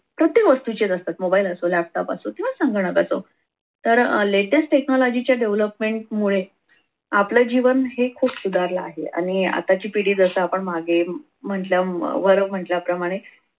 प्रत्येक वस्तूचेच असतात मोबाईल असो laptop असो किंवा संगणक असो तर latest technology च्या development मुळे आपलं जीवन हे खूप सुधारला आहे आणि आताची पिढी जस आपण मागे म्हटलं वर म्हटल्याप्रमाणे